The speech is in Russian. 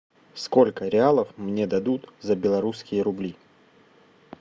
сколько реалов мне дадут за белорусские рубли